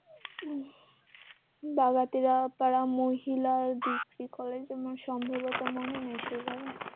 বাগাতিরা পাড়া মহিলা dp college আমার সম্ভবত মনে নেই সেই ভাবে